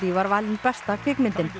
var valin besta kvikmyndin